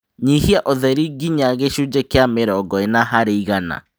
Nyihia ũtheri nginya gĩcunjĩ kĩa mĩrongo ĩna harĩ igana